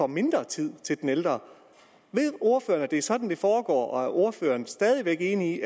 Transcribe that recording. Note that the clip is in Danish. mindre tid til den ældre ved ordføreren at det er sådan det foregår og er ordføreren stadig væk enig